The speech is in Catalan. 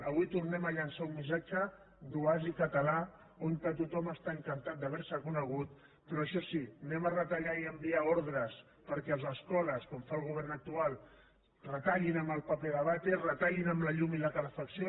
avui tornem a llançar un missatge d’oasi català on tothom està encantat d’haver se conegut però això sí anem a retallar i a enviar ordres perquè a les escoles com fa el govern actual retallin en paper de vàter retallin en la llum i en la calefacció